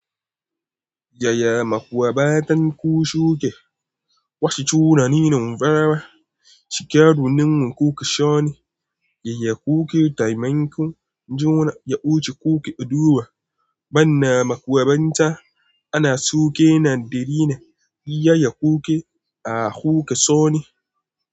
Y aya makwabtan ku suke? Wasu tunanin farawa, cike dunun ku kaso ne, yayya uku taimakon juna ya wuce kuke duba. Banna makwabta ana suke na darina yayya uku a huka so ne.